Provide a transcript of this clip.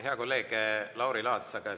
Hea kolleeg Lauri Laats!